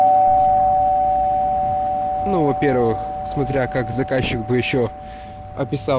ну во-первых смотря как заказчик бы ещё описал